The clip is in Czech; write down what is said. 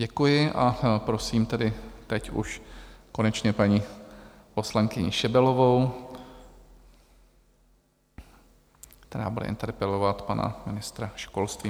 Děkuji, a prosím tedy teď už konečně paní poslankyni Šebelovou, která bude interpelovat pana ministra školství.